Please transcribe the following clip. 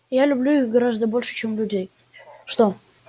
я люблю их гораздо больше чем людей